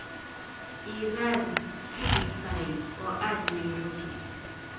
ii raadi tigidh tareen oo aad nairobi